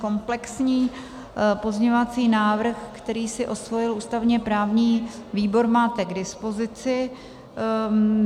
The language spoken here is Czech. Komplexní pozměňovací návrh, který si osvojil ústavně-právní výbor, máte k dispozici.